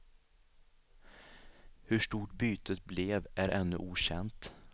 Hur stort bytet blev är ännu okänt.